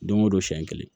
Don o don siɲɛ kelen